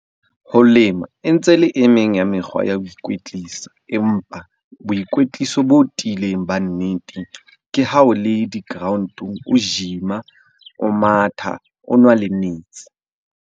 Ho lema e ntse le e meng ya mekgwa ya ho ikwetlisa. Empa boikwetliso bo tiileng ba nnete, ke ha o le di-ground-ong o gym-a, o matha, o nwa le metsi.